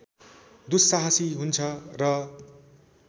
दुस्साहसी हुन्छ र